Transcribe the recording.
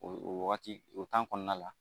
O o wagati o kɔnɔna la